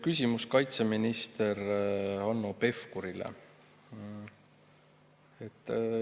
Küsimus on kaitseminister Hanno Pevkurile.